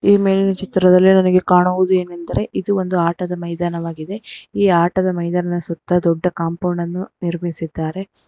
ಈ ಮೇಲಿನ ಚಿತ್ರದಲ್ಲಿ ನನಗೆ ಕಾಣುವುದೇನೆಂದರೆ ಇದು ಒಂದು ಆಟದ ಮೈದಾನವಾಗಿದೆ ಈ ಆಟದ ಮೈದಾನದ ಸುತ್ತ ದೊಡ್ಡ ಕಾಂಪೌಂಡ್ ಅನ್ನು ನಿರ್ಮಿಸಿದ್ದಾರೆ.